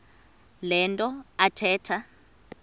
le nto athetha